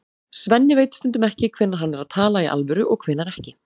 Svenni veit stundum ekki hvenær hann er að tala í alvöru og hvenær ekki.